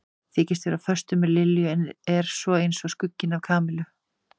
Þykist vera á föstu með Lilju en er svo eins og skugginn af Kamillu.